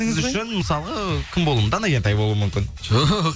сіз үшін мысалға кім болуы дана кентай болуы мүмкін жоқ